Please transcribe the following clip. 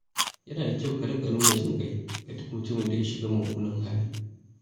Yana da kyau ka riƙa nuna jin ƙai ga duk mutumin da ya shiga mummunan hali.